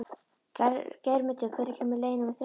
Geirmundur, hvenær kemur leið númer þrettán?